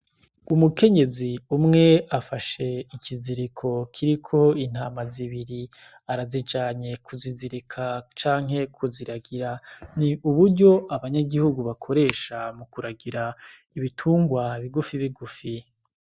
Umukenyezi umwe afashe ikiziriko kiriko intama z'ibiri, arazijanye kuzizirika canke kuziragira ni uburyo abanyagihugu bakoresha mu kuragira ibitungwa bigufi bigufi.